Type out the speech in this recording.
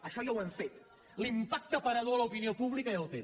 això ja jo hem fet l’impacte aparador a l’opinió pública ja ho té